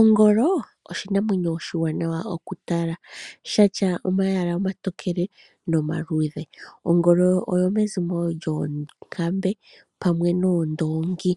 Ongolo oshinamwenyo oshiwanawa okutala. Oshina omayala omatokele nomaluudhe. Ongolo oyomezimo lyoonkambe pamwe noondongi.